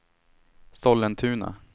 Sollentuna